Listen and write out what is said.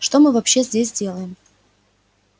что мы вообще здесь делаем